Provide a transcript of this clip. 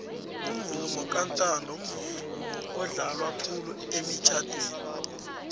umvumo kantando mvumo odlalwa khulu emitjnadweni